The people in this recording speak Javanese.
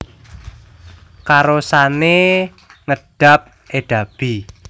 Karosane ngedab edabi